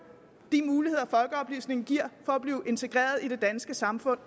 de muligheder folkeoplysningen giver for at blive integreret i det danske samfund